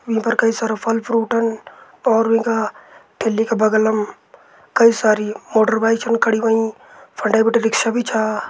ईं पर कई सारा फल फ्रूटन और वीं का ठेली का बगलम कई सारी मोटरबाइक छन खड़ी होईं फंडे बिटि रिक्शा भी छा।